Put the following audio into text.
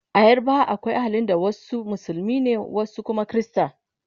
a yarbawa akwai ahalin da wasu musulmai ne wasu Kuma Krista